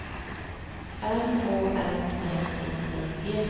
M Å L N I N G